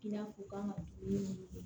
I n'a fɔ u kan ka togo min